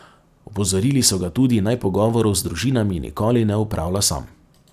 Opozorili so ga tudi, naj pogovorov z družinami nikoli ne opravlja sam.